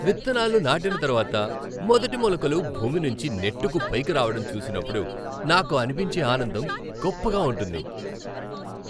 విత్తనాలు నాటిన తర్వాత మొదటి మొలకలు భూమినుంచి నెట్టుకు పైకిరావటం చూసినప్పుడు నాకు అనిపించే ఆనందం గొప్పగా ఉంటుంది.